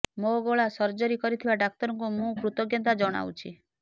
ମୋ ଗଳା ସର୍ଜରୀ କରିଥିବା ଡାକ୍ତରଙ୍କୁ ମୁଁ କୃତଜ୍ଞତା ଜଣାଉଛି